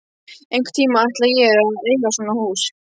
Einhvern tíma ætla ég að eiga svona hús.